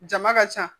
Jama ka ca